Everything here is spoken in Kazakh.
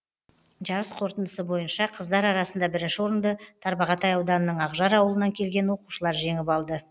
жарыс қорытындысы бойынша қыздар арасында бірінші орынды тарбағатай ауданының ақжар ауылынан келген оқушылар жеңіп алды